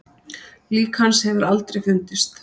Lík hans hefur aldrei fundist.